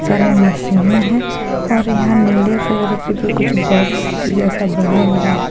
सारे मशीन है और यहां नीले कलर की भी कुछ बॉक्स जैसा बना हुआ हैं।